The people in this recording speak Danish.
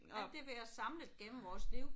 Alt det vi har samlet gennem vores liv